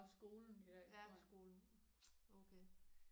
Ja skolen okay